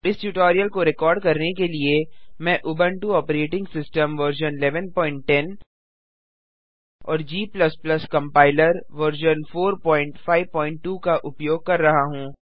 इस ट्यूटोरियल को रिकॉर्ड करने के लिए मैं उबंटु ऑपरेटिंग सिस्टम वर्जन 1110 और G कंपाइलर वर्जन 452 का उपयोग कर रहा हूँ